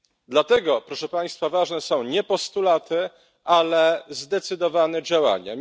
Dlatego, proszę Państwa, ważne są nie postulaty, ale zdecydowane działania.